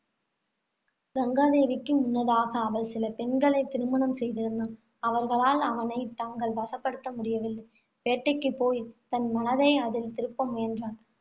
கங்காதேவிக்கு முன்னதாக அவன் சில பெண்களைத் திருமணம் செய்திருந்தான். அவர்களால் அவனைத் தங்கள் வசப்படுத்த முடியவில்லை. வேட்டைக்கு போய் தன் மனதை அதில் திருப்ப முயன்றான்.